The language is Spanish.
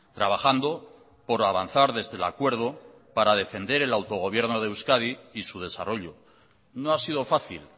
trabajando por avanzar desde el acuerdo para defender el autogobierno de euskadi y su desarrollo no ha sido fácil